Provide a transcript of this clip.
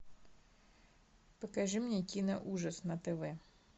покажи мне киноужас на тв